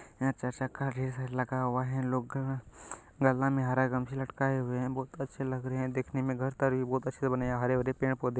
यहाँ चार चक्का भी लगा हुआ है लोगा गला में हरा गमछी लटकाए हुए हैं बहोत अच्छे लग रहे हैं देखने में घर बहोत अच्छे बने हैं। हरे-भरे पेड़-पौधे --